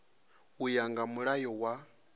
u ya nga mulayo wa